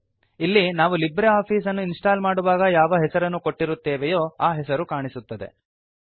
ಇಲ್ಲಿ ನಾವು libre office ಅನ್ನು ಇನ್ಸ್ಟಾಲ್ ಮಾಡುವಾಗ ಯಾವ ಹೆಸರನ್ನು ಕೊಟ್ಟಿರುತ್ತೇವೆಯೋ ಆ ಹೆಸರು ಕಾಣಿಸುತ್ತದೆ